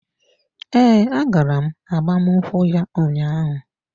Ee, agara m agbamnkwu ya ụnyaahụ.